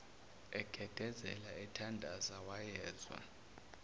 egedezela ethandaza wayezwa